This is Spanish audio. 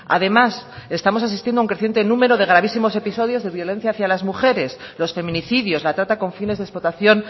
además estamos asistiendo a un creciente número de gravísimos episodios de violencia hacia a las mujeres los feminicidios la trata con fines de explotación